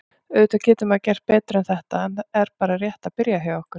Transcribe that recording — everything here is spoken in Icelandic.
Auðvitað getur maður gert betur en þetta er bara rétt að byrja hjá okkur.